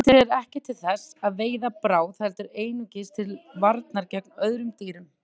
Eitrið er ekki til þess að veiða bráð heldur einungis til varnar gegn öðrum dýrum.